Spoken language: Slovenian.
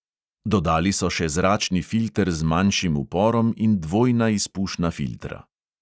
Dodali so še zračni filter z manjšim uporom in dvojna izpušna filtra.